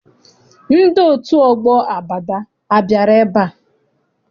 Ndị otu ọgbọ Abada abịara ebea?